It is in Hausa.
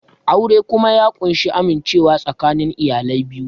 Aure kuma ya ƙunshi amincewa tsakanin iyalai biyu